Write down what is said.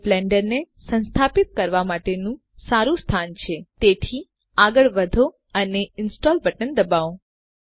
જે બ્લેન્ડરને સંસ્થાપિત કરવા માટેનું સારું સ્થાન છે તેથી આગળ વધો અને ઇન્સ્ટોલ બટન દબાવો